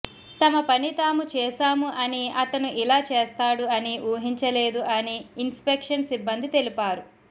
తమపని తాము చేశాము అని అతను ఇలా చేస్తాడు అని ఊహించలేదు అని ఇన్ స్పెక్షన్ సిబ్బంది తెలిపారు